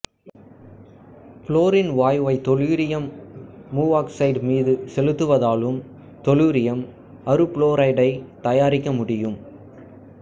fluorine வாயுவை தெலூரியம் மூவாக்சைடு மீது செலுத்துவதாலும் தெலூரியம் அறுபுளோரைடைத் தயாரிக்க முடியும்